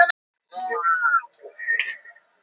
Þú ert engin tröllkona.